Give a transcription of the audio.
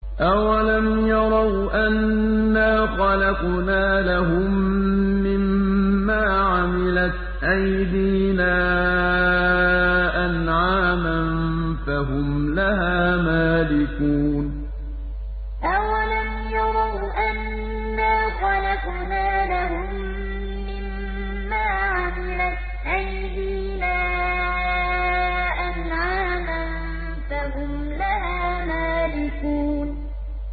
أَوَلَمْ يَرَوْا أَنَّا خَلَقْنَا لَهُم مِّمَّا عَمِلَتْ أَيْدِينَا أَنْعَامًا فَهُمْ لَهَا مَالِكُونَ أَوَلَمْ يَرَوْا أَنَّا خَلَقْنَا لَهُم مِّمَّا عَمِلَتْ أَيْدِينَا أَنْعَامًا فَهُمْ لَهَا مَالِكُونَ